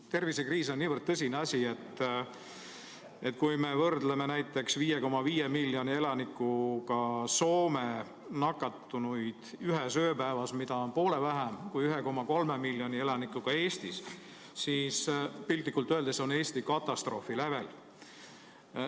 Tervisekriis on niivõrd tõsine asi, et kui me vaatame näiteks 5,5 miljoni elanikuga Soome nakatunute arvu ühes ööpäevas, mis on poole väiksem kui 1,3 miljoni elanikuga Eestis, siis piltlikult öeldes on Eesti katastroofi lävel.